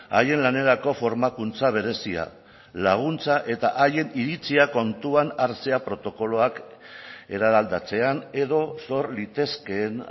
haien lanerako formakuntza berezia laguntza eta haien iritzia kontuan hartzea protokoloak eraldatzean edo sor litezkeen